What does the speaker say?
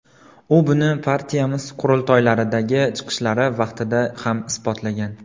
U buni partiyamiz qurultoylaridagi chiqishlari vaqtida ham isbotlagan.